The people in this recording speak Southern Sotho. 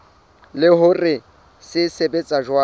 le hore se sebetsa jwang